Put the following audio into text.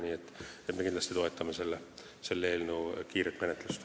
Nii et me kindlasti toetame selle eelnõu kiiret menetlust.